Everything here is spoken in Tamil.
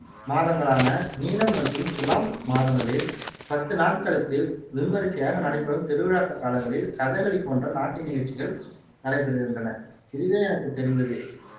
மாதங்களான மீனம் மற்றும் துலாம் மாதங்களில் பத்து நாட்களுக்கு விமரிசையாக நடைபெறும் திருவிழாக் காலங்களில் கதகளி போன்ற நாட்டிய நிகழ்ச்சிகள் நடைபெறுகின்றன இதுவே எனக்கு தெரிந்தது